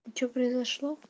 что произошло